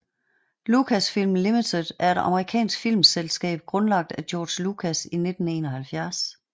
Lucasfilm Limited er et amerikansk filmselskab grundlagt af George Lucas i 1971